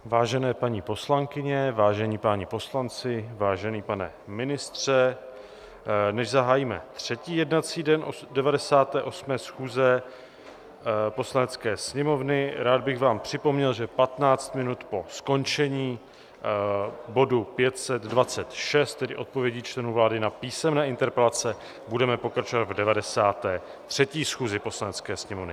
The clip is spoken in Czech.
Vážené paní poslankyně, vážení páni poslanci, vážený pane ministře, než zahájíme třetí jednací den 98. schůze Poslanecké sněmovny, rád bych vám připomněl, že 15 minut po skončení bodu 526, tedy odpovědí členů vlády na písemné interpelace, budeme pokračovat v 93. schůzi Poslanecké sněmovny.